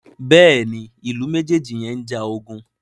Béèni Ilú mejeji yén njà ogun.